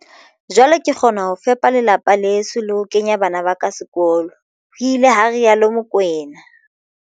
"Jwale ke kgona ho fepa lelapa leso le ho kenya bana ba ka sekolo," ho ile ha rialo Mokoena."